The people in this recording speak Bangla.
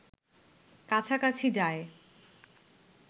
কাছাকাছি যায়